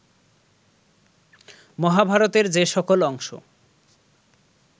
মহাভারতের যে সকল অংশ